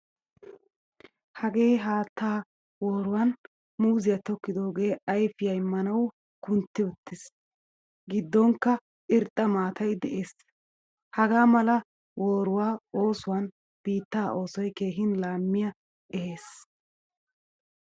Hagee haattaa waaruwaan muuzziyaa tokkidoge ayfiyaa immanawu kuntti uttiis. Giddonkka irxxa maataay de'ees. Hagaa mala waaruwaa oosuwan biittaa oosoy keehin laamiyaa ehees.